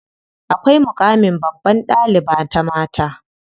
Akwai muƙamin babbar ɗaliba ta mata.